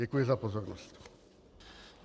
Děkuji za pozornost.